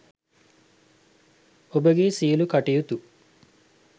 ඔබගේ සියළු කටයුතු